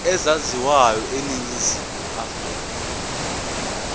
ezaziwayo eningizimu afrika